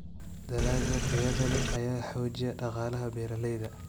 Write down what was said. Dalagga tayada leh ayaa xoojiya dhaqaalaha beeralayda.